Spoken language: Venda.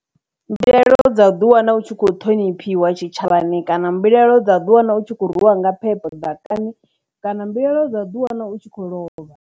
Mbilaelo dza u ḓi wana u tshi kho ṱhoniphiwa tshitshavhani, kana mbilaelo dza ḓi wana u tshi khou rwiwa nga phepho ḓakani, kana mbilaelo dza di wana u tshi khou lovha.